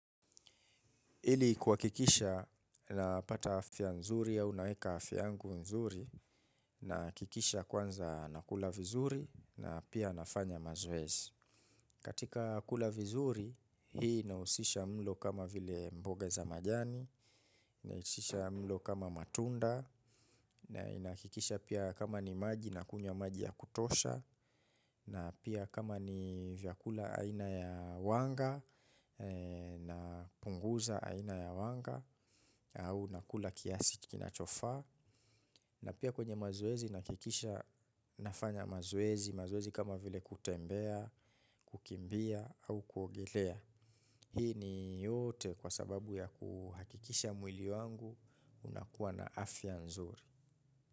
Ili kuwakikisha napata afya nzuri au naeka afia yangu nzuri nakikisha kwanza nakula vizuri na pia nafanya mazoezi. Katika kula vizuri hii inausisha mlo kama vile mboga za majani, inaikisha mlo kama matunda na inakikisha pia kama ni maji nakunywa maji ya kutosha na pia kama ni vyakula aina ya wanga na punguza aina ya wanga au nakula kiasi kinachofaa na pia kwenye mazoezi nakikisha nafanya mazoezi mazoezi kama vile kutembea, kukimbia au kuogelea hii ni yote kwa sababu ya kuhakikisha mwili wangu unakuwa na afya nzuri.